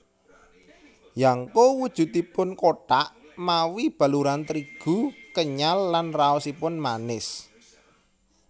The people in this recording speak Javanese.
Yangko wujudipun kothak mawi baluran trigu kenyal lan raosipun manis